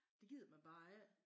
Det gider man bare ik